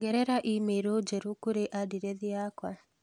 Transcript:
ongerera i-mīrū njerũ kũrĩ andirethi ciakwa